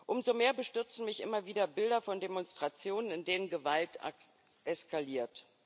Umso mehr bestürzen mich immer wieder Bilder von Demonstrationen, in denen Gewalt eskaliert.